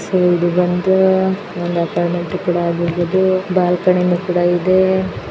So ಇದು ಬಂದು ಒಂದು ಅಪಾರ್ಟ್ಮೆಂಟು ಕೂಡ ಆಗಿರ್ಬಹುದು ಬಾಲ್ಕನಿನು ಕೂಡ ಇದೆ.